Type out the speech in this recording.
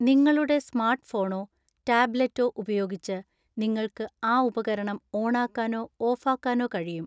നിങ്ങളുടെ സ്മാർട്ട്‌ഫോണോ ടാബ്‌ലെറ്റോ ഉപയോഗിച്ച് നിങ്ങൾക്ക് ആ ഉപകരണം ഓണാക്കാനോ ഓഫാക്കാനോ കഴിയും